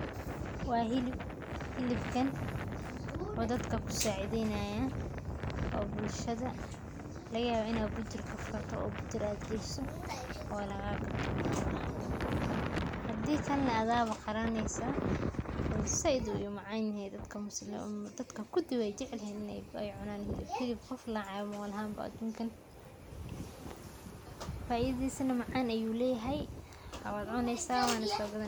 Wa hilib, hilibka wuxuu dadka ku sacideynayaa oo bulshada lagayabaa inaa bujur kafurato oo bujur ad geyso oo lagagatoh, hadi kale na adaa ba qalaneysaah coz zaid ayuu u macanyehe dadka kudi weyjecelyihin in ay cunaan , hilib qof nacaayo maba lahaan ba adunkan, faidadisa na macaan ayuu leyahay wad cuneysaah wana so gadani.